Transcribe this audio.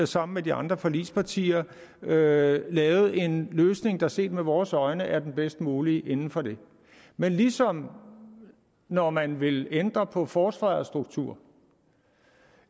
sammen med de andre forligspartier lavet lavet en løsning der set med vores øjne er den bedst mulige inden for det men ligesom når man vil ændre på forsvarets struktur